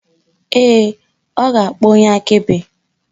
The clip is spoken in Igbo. Ee, ọ ga-akpọ onye akaebe